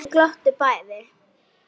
Þau glottu bæði.